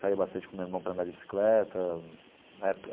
Saía bastante com o meu irmão para andar de bicicleta eh.